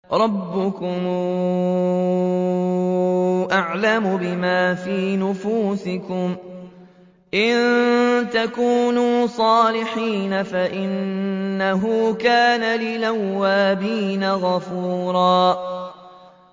رَّبُّكُمْ أَعْلَمُ بِمَا فِي نُفُوسِكُمْ ۚ إِن تَكُونُوا صَالِحِينَ فَإِنَّهُ كَانَ لِلْأَوَّابِينَ غَفُورًا